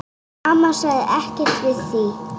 Amma sagði ekkert við því.